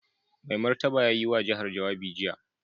Mai Martaba ya yi wa jihar jawabi jiya.